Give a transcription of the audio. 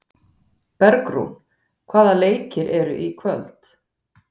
Bergrún, hvaða leikir eru í kvöld?